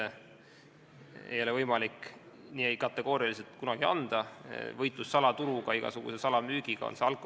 Aga loota, et sellega saab pandud täielik punkt ja turg Eesti Vabariigis saab olema 100% seaduslik, ükskõik millise toote turust me räägime, oleks ilmselt natuke liiga optimistlik.